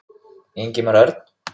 Ingimar Örn.